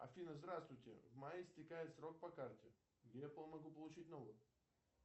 афина здравствуйте в мае истекает срок по карте где я могу получить новую